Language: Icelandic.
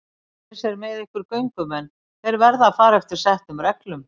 Eins er með ykkar göngumenn, þeir verða að fara eftir settum reglum.